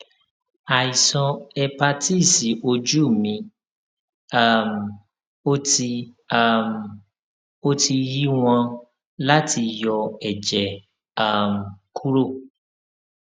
àìsàn hépátíìsì ojú mé um o ti um o ti yí wán láti yọ èjè um kúrò